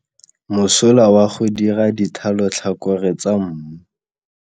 Mosola wa go dira dithalotlhakore tsa mmu.